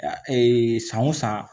san o san